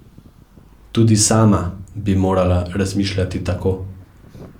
Tudi sama bi morala razmišljati tako.